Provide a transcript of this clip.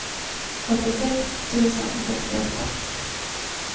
åttiosex tusen sextioåtta